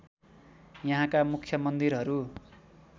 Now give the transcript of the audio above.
यहाँका मुख्य मन्दिरहरू